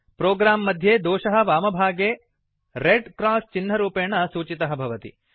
program मध्ये दोषः वामभागे रेड् क्रास् चिह्नरूपेण सूचितः भवति